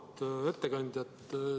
Auväärt ettekandja!